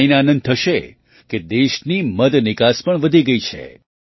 તમને જાણીને આનંદ થશે કે દેશની મધ નિકાસ પણ વધી ગઈ છે